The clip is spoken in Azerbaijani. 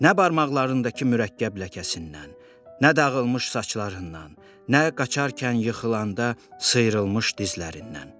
Nə barmaqlarındakı mürəkkəb ləkəsindən, nə dağılmış saçlarından, nə qaçarkən yıxılanda sıyrılmış dizlərindən.